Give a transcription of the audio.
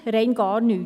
– Rein gar nichts!